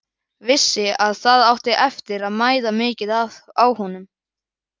Vissi að það átti eftir að mæða mikið á honum.